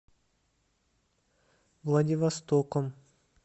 владивостоком